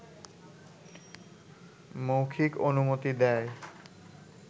মৌখিক অনুমতি দেয়